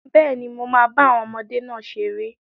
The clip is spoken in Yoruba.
Bẹ́ẹ̀ni, mo máa bá àwọn ọmọdé náà ṣeré